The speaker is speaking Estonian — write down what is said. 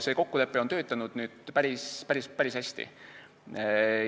See kokkulepe on töötanud päris hästi.